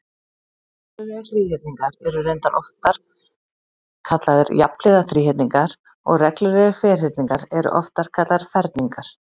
Reglulegir þríhyrningar eru reyndar oftar kallaðir jafnhliða þríhyrningar og reglulegir ferhyrningar eru oftar kallaðir ferningar.